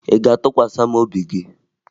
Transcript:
Ị ga-atụkwasa m obi gị?